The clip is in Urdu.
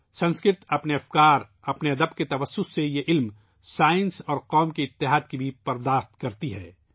سنسکرت اپنے خیالات ، اپنے ادب کے ذریعے ، اس علم ، سائنس اور قوم کی وحدت کو بھی پروان چڑھاتی ہے